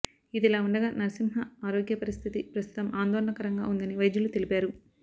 ఇదిలా ఉండగా నర్సింహ్మ ఆరోగ్యపరిస్ధితి ప్రస్ధుతం ఆందోళన కరంగా ఉందని వైద్యులు తెలిపారు